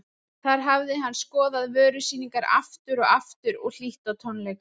Þar hafði hann skoðað vörusýningar aftur og aftur og hlýtt á tónleika.